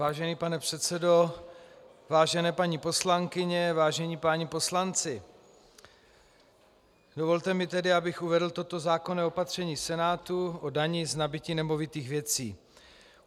Vážený pane předsedo, vážené paní poslankyně, vážení páni poslanci, dovolte mi tedy, abych uvedl toto zákonné opatření Senátu o dani z nabytí nemovitých věcí.